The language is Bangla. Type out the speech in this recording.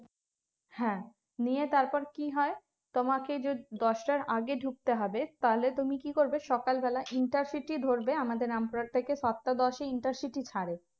হ্যাঁ নিয়ে তারপর কি হয় তোমাকে যে দশটার আগে ঢুকতে হবে তাহলে তুমি কি করবে সকালবেলা intercity ধরবে আমাদের রামপুরহাট থেকে সাতটা দশে intercity ছাড়ে